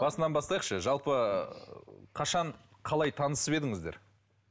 басынан бастайықшы жалпы ыыы қашан қалай танысып едіңіздер